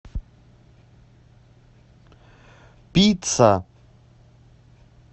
пицца